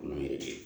Kɔnɔ yɛrɛ